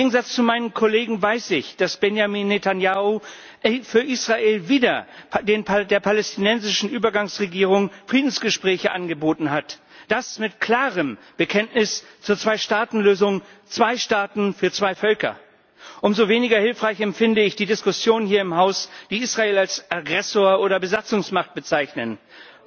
Im Gegensatz zu meinen Kollegen weiß ich, dass Benjamin Netanjahu für Israel wieder der palästinensischen Übergangsregierung Friedensgespräche angeboten hat. Und zwar mit klarem Bekenntnis zur Zweistaatenlösung zwei Staaten für zwei Völker. Umso weniger hilfreich empfinde ich die Diskussionen hier im Haus, bei denen Israel als Aggressor oder Besatzungsmacht bezeichnet wird.